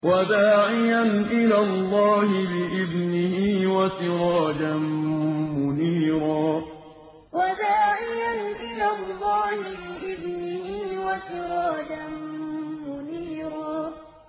وَدَاعِيًا إِلَى اللَّهِ بِإِذْنِهِ وَسِرَاجًا مُّنِيرًا وَدَاعِيًا إِلَى اللَّهِ بِإِذْنِهِ وَسِرَاجًا مُّنِيرًا